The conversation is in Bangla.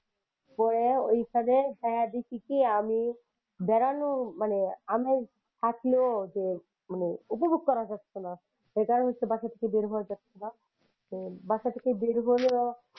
পরে ওই খানে যাইয়া দেখি কি আমি বেড়ানো মানে আমেজ থাকলেও যে মানে উপভোগ করা যাচ্ছে না সেটা হচ্ছে বাসা থেকে বের হওয়া যাচ্ছে না । তো বাসা থেকে বের হলেও,